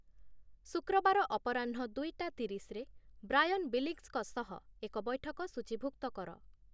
ଶୁକ୍ରବାର ଅପରାହ୍ନ ଦୁଇଟା ତିରିଶ ରେ ବ୍ରାୟନ ବିଲିଂସଙ୍କ ସହ ଏକ ବୈଠକ ସୂଚୀଭୁକ୍ତ କର